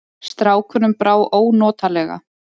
Strákunum brá ónotalega.